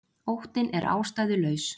Óttinn er ástæðulaus.